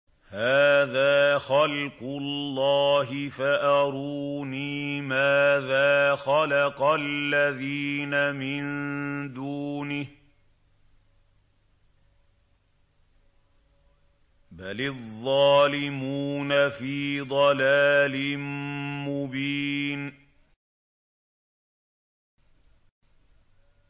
هَٰذَا خَلْقُ اللَّهِ فَأَرُونِي مَاذَا خَلَقَ الَّذِينَ مِن دُونِهِ ۚ بَلِ الظَّالِمُونَ فِي ضَلَالٍ مُّبِينٍ